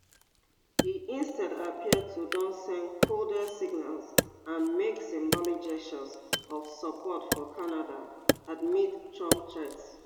e instead appear to don send coded signals and make symbolic gestures of support for canada amid trump threats